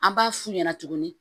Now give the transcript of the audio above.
An b'a f'u ɲɛna tuguni